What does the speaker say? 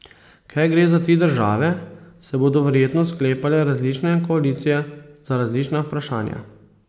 Ker gre za tri države, se bodo verjetno sklepale različne koalicije za različna vprašanja.